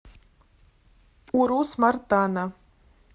урус мартана